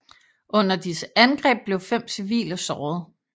Under disse angreb blev fem civile såret